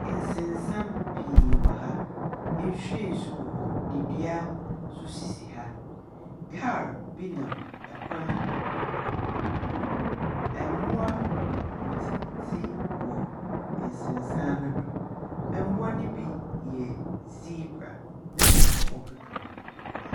Nsensan pii wɔ ha. Nsu nsu wɔ hɔ, na dua nso sisi ha. Kaal bi nam kwan no do. Mboa redzidzi wɔ nsensan no do. Mboa no bi yɛ zebra, na ma ɔkeka ho.